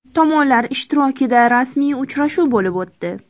Tomonlar ishtirokida rasmiy uchrashuv bo‘lib o‘tdi.